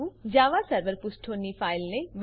Java server પુષ્ઠોની ફાઈલને બનાવવું